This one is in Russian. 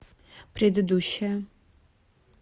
предыдущая